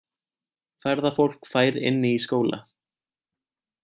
Ferðafólk fær inni í skóla